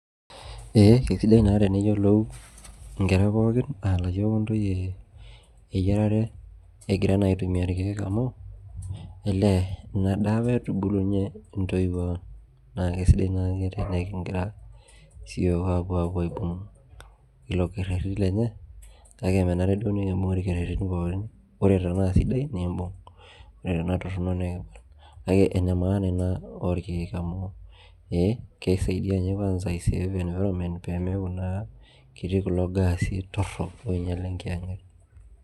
Ee keisidai naa teneyiolou inkera pooki aa layiok o ntoyie eyiarare egira naa aitumia ilkeek amu elee ina daa apa etubulunye intoiwuo ang' naa keisidai naake tenekigira naake siyioook apuo apuo aibung' ilo kerrerro lenye kake menare duo nikibung' ilkerrerrin pookin ore tanaa sidia nekibung' ore tanaa torrono nekipal kake ene maana ina olkeek amu ee keisaidi ninye kwansa aiseef environment pemeeku naa ketii kulo gaasi torrok oinyal enkiyang'et